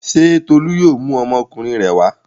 Ṣé Tolú yóò mú ọmọkùnrin rẹ̀ wá?